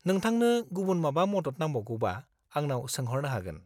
-नोंथांनो गुबुन माबा मदद नांबावगौबा, आंनाव सोंह'रनो हागोन।